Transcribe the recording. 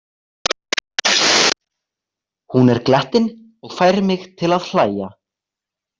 Hún er glettin og fær mig til að hlæja.